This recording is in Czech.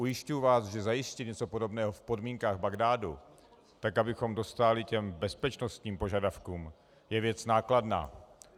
Ujišťuji vás, že zajistit něco podobného v podmínkách Bagdádu, tak abychom dostáli těm bezpečnostním požadavkům, je věc nákladná.